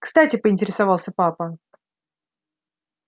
кстати поинтересовался папа